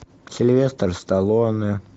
сильвестр сталлоне